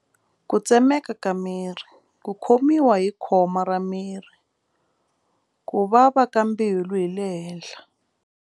Ku tsemeka ka miri ku khomiwa hi khoma ra miri ku vava ka mbilu hi le henhla.